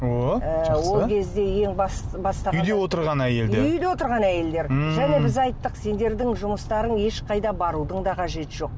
о жақсы ол кезде ең үйде отырған әйелдер үйде отырған әйелдер ммм және біз айттық сендердің жұмыстарың ешқайда барудың да қажеті жоқ